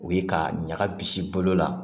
U ye ka ɲaga bisi bolo la